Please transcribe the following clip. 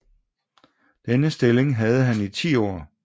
Denne stilling havde han i 10 år